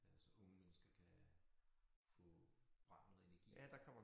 Øh så unge mennesker kan få bragt noget energi